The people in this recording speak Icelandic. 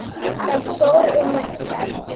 Það fór um okkur.